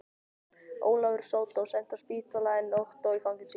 Ólafur sódó lenti á spítala en Ottó í fangelsi.